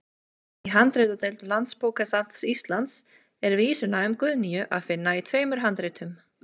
Í handritadeild Landsbókasafns Íslands er vísuna um Guðnýju að finna í tveimur handritum.